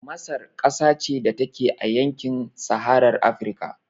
Masar ƙasa ce da take a yankin saharar Afrika